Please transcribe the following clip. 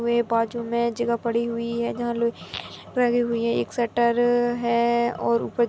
वे बाजु मे जगह पड़ी हुई है जहाँ लुई प्रगी हुई है। एक शटर है और ऊपर--